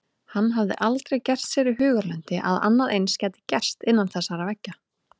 Hann hafði aldrei gert sér í hugarlund að annað eins gæti gerst innan þessara veggja.